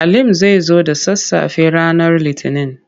Halim zai zo da sassafe ranar Litinin.